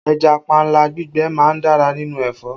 Ẹja panla gbígbẹ má ń dára nínú ẹ̀fọ́